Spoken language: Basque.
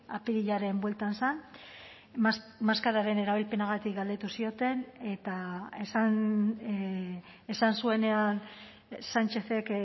apirilaren bueltan zen maskararen erabilpenagatik galdetu zioten eta esan zuenean sánchezek